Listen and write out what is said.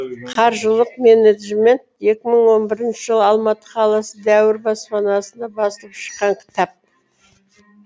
қаржылық менеджмент екі мың он бірінші жылы алматы қаласы дәуір баспасында басылып шыққан кітап